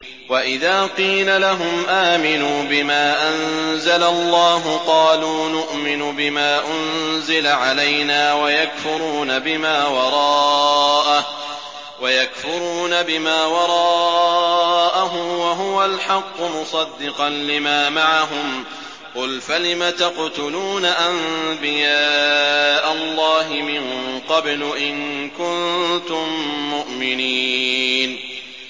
وَإِذَا قِيلَ لَهُمْ آمِنُوا بِمَا أَنزَلَ اللَّهُ قَالُوا نُؤْمِنُ بِمَا أُنزِلَ عَلَيْنَا وَيَكْفُرُونَ بِمَا وَرَاءَهُ وَهُوَ الْحَقُّ مُصَدِّقًا لِّمَا مَعَهُمْ ۗ قُلْ فَلِمَ تَقْتُلُونَ أَنبِيَاءَ اللَّهِ مِن قَبْلُ إِن كُنتُم مُّؤْمِنِينَ